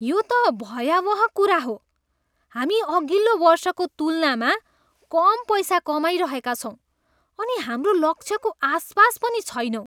यो त भयावह कुरा हो! हामी अघिल्लो वर्षको तुलनामा कम पैसा कमाइरहेका छौँ अनि हाम्रो लक्ष्यको आसपास पनि छैनौँ।